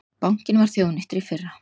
Bankinn var þjóðnýttur í fyrra